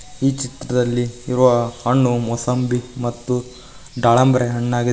ಈ ಚಿತ್ರದಲ್ಲಿ ಇರುವ ಹಣ್ಣು ಮುಸಂಬಿ ಮತ್ತು ದಾಳಂಬ್ರೆ ಹಣ್ಣಾಗಿದೆ.